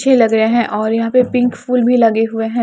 अच्छे लग रहे हैं और यहां पे पिंक फूल भी लगे हुए हैं।